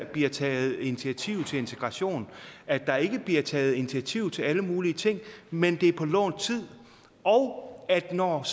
bliver taget initiativ til integration at der ikke bliver taget initiativ til alle mulige ting men det er på lånt tid og at når